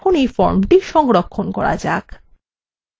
এখন এই ফর্মটি সংরক্ষণ করা যাক